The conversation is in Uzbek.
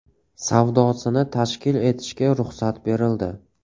savdosini tashkil etishga ruxsat berildi.